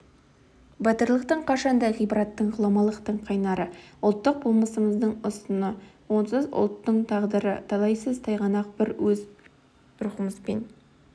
батырлық қашанда ғибраттың ғұламалықтың қайнары ұлттық болмысымыздың ұстыны онсыз ұлттың тағдыры талайсыз тайғанақ біз өр рухымызбен